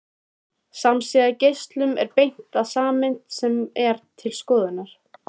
Samsíða geislum er beint að sameind sem er til skoðunar.